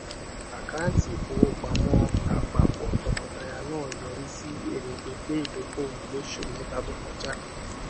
àkáńtì ìfowópamọ àpapọ tọkọtaya náà yọrí sí èrè pínpín ìdókòwò lósù mẹta to kọjá